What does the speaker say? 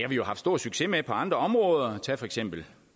jo haft stor succes med på andre områder tag for eksempel